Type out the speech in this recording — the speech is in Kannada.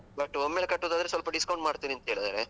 but ಒಮ್ಮೆಲೆ ಕಟ್ಟುದಾದ್ರೆ, ಸ್ವಲ್ಪ discount ಮಾಡ್ತೀವಿ ಅಂತ ಹೇಳಿದ್ದಾರೆ.